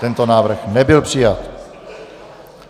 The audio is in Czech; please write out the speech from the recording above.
Tento návrh nebyl přijat.